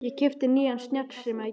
Ég keypti nýjan snjallsíma í gær.